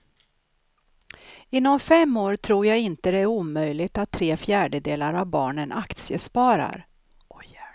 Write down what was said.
Inom fem år tror jag inte det är omöjligt att tre fjärdedelar av barnen aktiesparar.